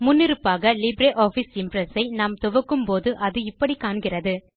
முன்னிருப்பாக LibreOffice Impress ஐ நாம் துவக்கும்போது அது இப்படி காண்கிறது